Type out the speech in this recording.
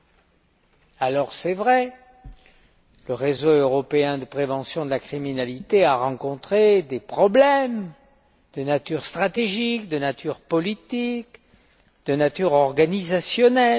Il est vrai, le réseau européen de prévention de la criminalité a rencontré des problèmes de nature stratégique, de nature politique, de nature organisationnelle.